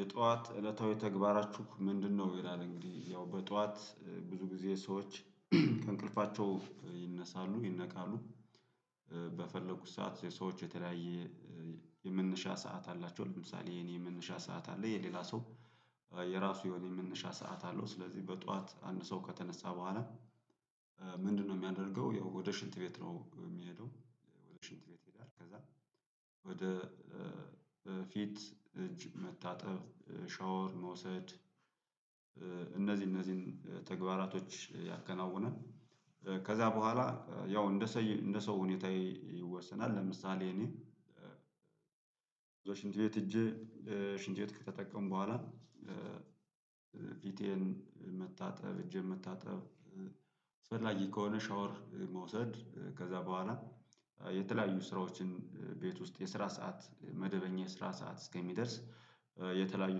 የጠዋት እለታዊ ተግባራችሁ ምንድነው? ይላል። እንግዲህ ያው በጠዋት ብዙ ጊዜ ሰዎች ከእንቅልፋቸው ይነሳሉ ይነቃሉ በፈለጉት ሰዓት የሰዎች የተለያየ የመነሻ ሰዓት አላቸው። ለምሳሌ የኔ የመነሻ ሰዓት አለ የሌላ ሰው የራሱ የሆነ የመነሻ ሰዓት አለው። ስለዚህ በጠዋት አንድ ሰው ከተነሳ በኋላ ምንድነው የሚያደርገው ያው ወደ ሽንት ቤት ነው የሚሄደው። ወደ ሽንት ቤት ይሄዳል ከዛ ወደ ፊት፣ እጅ መታጠብ፤ ሻወር መውሰድ እነዚህ እነዚህን ተግባራቶች ያከናውናል። ከዛ በኋላ ያው እንደ እንደ ሰው ሁኔታ ይወሰናል። ለምሳሌ እኔ ብዙ ሽንት ቤት ሄጄ ሽንት ቤት ከተጠቀምኩ በኋላ ፊቴን መታጠ፣ እጄን መታጠብ፣ አስፈላጊ ከሆነ ሻወር መውሰድ፤ ከዛ በኋላ የተለያዩ ስራዎችን ቤት ውስጥ፤ የስራ ሰዓት መደበኛ የስራ ሰዓት እስከሚደርስ የተለያዩ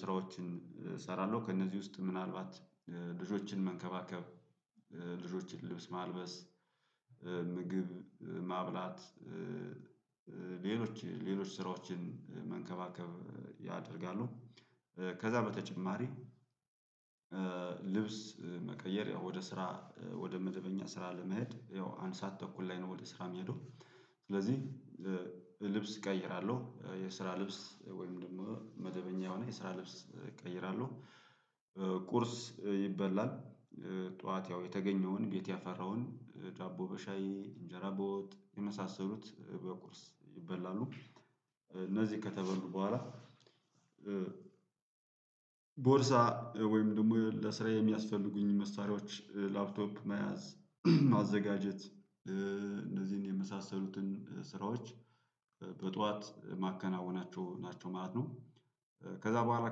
ስራዎችን እሰራለሁ። ከእነዚህ ውስጥ ምናልባት ልጆችን መንከባከብ፣ ልጆችን ልብስ ማልበስ፣ ምግብ ማብላት ሌሎች ሌሎች ስራዎችን መንከባከብ ያደርጋሉ። ከዛ በተጨማሪ ልብስ መቀየር ያው ወደ ስራ ወደ መደበኛ ስራ ለመሄድ ያው አንድ ሰዓት ተኩል ላይ ነው ወደ ስራ የምሄደው። ስለዚህ ልብስ እቀይራለሁ የስራ ልብስ ወይም ደግሞ መደበኛ የሆነ የስራ ልብስ እቀይራለሁ። ቁርስ ይበላል። ጠዋት ያው የተገኘውን ቤት ያፈራውን ዳቦ በሻይ፣ እንጀራ በወጥ የመሳሰሉት በቁርስ ይበላሉ። እነዚህ ከተበሉ በኋላ ቦርሳ ወይም ደግሞ ለስራ የሚያስፈልጉኝን መሳሪያዎች ላፕቶፕ መያዝ ማዘጋጀት እነዚህን የመሳሰሉትን ስራዎች በጠዋት የማከናውናቸው ናቸው ማለት ነው። ከዛ በኋላ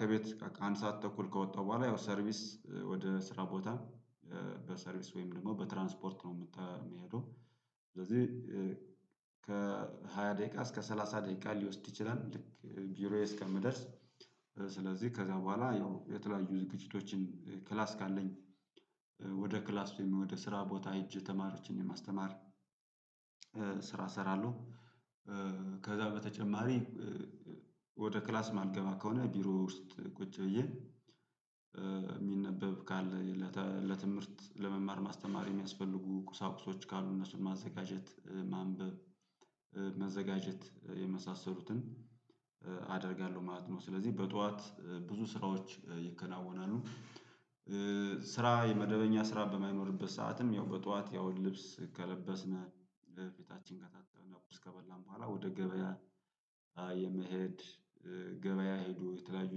ከቤት አንድ ሰዓት ተኩል ከወጣሁ በኋላ ያው ሰርቪስ ወደ ስራ ቦታ በሰርቪስ ወይም ደግሞ በትራንስፖርት ነው የምሄደው። ስለዚህ ከሃያ ደቂቃ እስከ ሰላሳ ደቂቃ ሊወስድ ይችላል ልክ ቢሮዬ እስከምደርስ። ስለዚህ ከዛ በኋላ ያው የተለያዩ ዝግጅቶችን ክላስ ካለኝ ወደ ክላስ ወይም ወደ ስራ ቦታ ሄጄ ተማሪዎችን የማስተማር እሰራለሁ። ከዛ በተጨማሪ ወደ ክላስ የማልገባ ከሆነ ቢሮ ውስጥ ቁጭ ብዬ የሚነበብ ካለ ለትምህርት ለመማር ማስተማር የሚያስፈልጉ ቁሳቁሶች ካሉ እነሱን ማዘጋጀት፣ ማንበብ፣ መዘጋጀት የመሳሰሉትን አደርጋለሁ ማለት ነው። ስለዚህ በጠዋት ብዙ ስራዎች ይከናወናሉ። ስራ የመደበኛ ስራ በማይኖርበት ሰዓትም ያው በጧት ያው ልብስ ከለበስን፣ ፊታችን ከታጠብን፣ ቁርስ ከበላን በኋላ ወደ ገበያ የመሄድ ገበያ ሄዶ የተለያዩ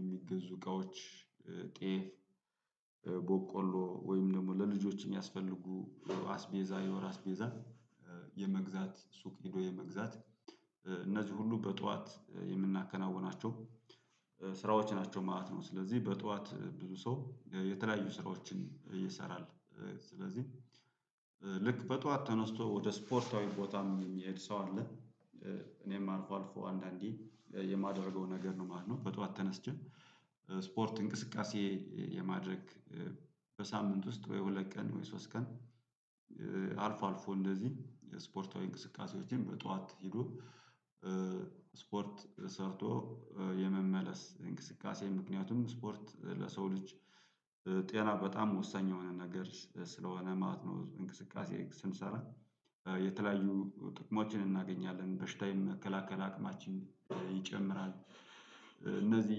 የሚገዙ እቃዎች ጤፍ፣ በቆሎ ወይም ደግሞ ለልጆች የሚያስፈልጉ አስቤዛ የወር አስቤዛ የመግዛት ሱቅ ሄዶ የመግዛት፤ እነዚህ ሁሉ በጧት የምናከናውናቸው ስራዎች ናቸው ማለት ነው። ስለዚህ በጠዋት ብዙ ሰው የተለያዩ ስራዎችን ይሰራል። ስለዚህ ልክ በጠዋት ተነስቶ ወደ ስፖርታዊ ቦታም የሚሄድ ሰው አለ። እኔም አልፎ አልፎ አንዳንዴ የማደርገው ነገር ነው ማለት ነው። በጠዋት ተነስቼ ስፖርት እንቅስቃሴ የማድረግ በሳምንት ውስጥ ወይ ሁለት ቀን ወይ ሶስት ቀን አልፎ አልፎ እንደዚህ የስፖርታዊ እንቅስቃሴዎችን በጧት ሄዶ ስፖርት ሰርቶ የመመለስ እንቅስቃሴ፤ ምክንያቱም ስፖርት ለሰው ልጅ ጤና በጣም ወሳኝ የሆነ ነገር ስለሆነ ማለት ነው። እንቅስቃሴ ስንሰራ የተለያዩ ጥቅሞችን እናገኛለን። በሽታ የመከላከል አቅማችን ይጨምራል። እነዚህ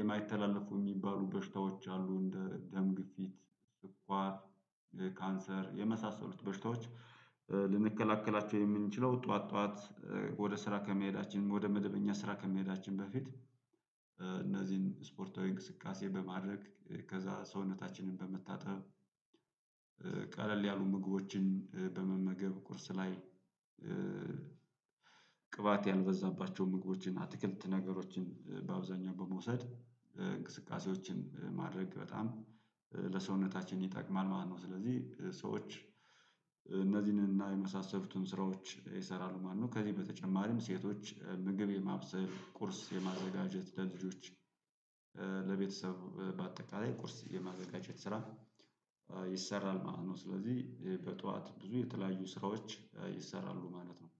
የማይተላለፉ የሚባሉ በሽታዎች አሉ እንደ ደም ግፊት፣ ስኳር፣ ካንሰር የመሳሰሉት በሽታዎች ልንከላከላቸው የምንችለው ጠዋት ጠዋት ወደ ስራ ከመሄዳችን ወደ መደበኛ ስራ ከመሄዳችን በፊት፤ እነዚህን ስፖርታዊ እንቅስቃሴ በማድረግ ከዛ ሰውነታችንን በመታጠብ ቀለል ያሉ ምግቦችን በመመገብ፤ ቁርስ ላይ ቅባት ያልበዛባቸው ምግቦችን አትክልት ነገሮችን በአብዛኛው በመውሰድ፤ እንቅስቃሴዎችን ማድረግ በጣም ለሰውነታችን ይጠቅማል ማለት ነው። ስለዚህ ሰዎች እነዚህንና የመሳሰሉትን ስራዎች ይሰራሉ ማለት ነው። ከዚህ በተጨማሪም ሴቶች ምግብ የማብሰል፣ ቁርስ የማዘጋጀት ለልጆች ለቤተሰብ በአጠቃላይ ቁርስ የማዘጋጀት ስራ ይሰራል ማለት ነው። ስለዚህ በጠዋት ብዙ የተለያዩ ስራዎች ይሰራሉ ማለት ነው።